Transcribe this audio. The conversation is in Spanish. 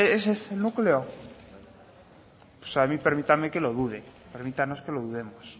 ese es el núcleo o sea a mí permítanme que lo dude permítanos que lo dudemos